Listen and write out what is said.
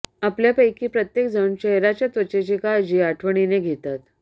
आपल्यापैकी प्रत्येक जण चेहऱ्याच्या त्वचेची काळजी आठवणीने घेतात